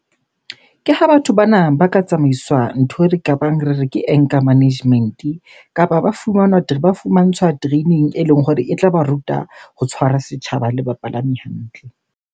Ke ha batho bana ba ka tsamaiswa ntho e re kabang re re ke anger management. Kapa ba fumanwa ba fumantshwa training eleng hore e tla ba ruta ho tshwara setjhaba le bapalami hantle.